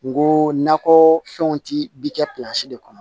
N go nakɔ fɛnw ti bi kɛ de kɔnɔ